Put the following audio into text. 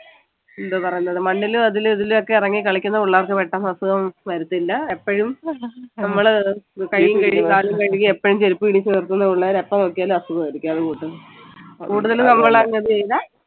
എന്തുവാ പറയുന്നത് മണ്ണിലും അതിലും ഇതിലും ഒക്കെ ഇറങ്ങി കളിക്കുന്ന പിള്ളേർക്ക് പെട്ടെന്ന് അസുഖം വരത്തില്ല എപ്പോഴും നമ്മള് കയ്യും കഴുകി കാലും കഴുകി എപ്പോഴും ചെരിപ്പും ഇടിച്ച് നടത്തുന്ന പിള്ളേരെ എപ്പോ നോക്കിയാലും അസുഖം ആയിരിക്കും കൂട്ടത്തിൽ നമ്മൾ അങ്ങനെ ചെയ്ത